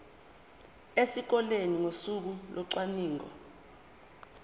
esikoleni ngosuku locwaningo